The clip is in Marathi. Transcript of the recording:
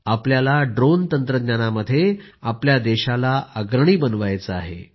आपल्याला ड्रोन तंत्रज्ञानामध्ये देशाला अग्रणी बनवायचे आहे